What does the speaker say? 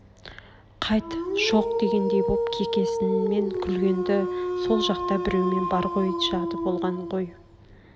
қайт шоқ дегендей боп кекесінмен күлген-ді сол жақта біреумен бар ғой жады болған ғой